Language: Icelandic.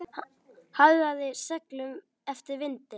Hagaði seglum eftir vindi.